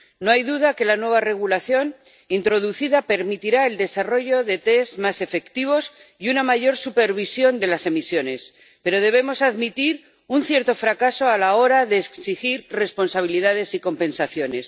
No hay duda de que el nuevo Reglamento introducido permitirá el desarrollo de test más efectivos y una mayor supervisión de las emisiones, pero debemos admitir un cierto fracaso a la hora de exigir responsabilidades y compensaciones.